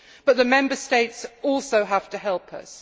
But the Member States also have to help us.